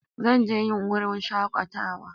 Zan je yin wurin shakatawa.